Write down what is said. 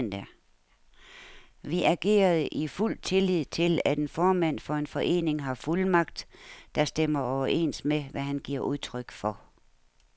Vi agerede i fuld tillid til, at en formand for en forening har fuldmagt, der stemmer overens med, hvad han giver udtryk for.